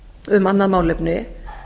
um annað málefni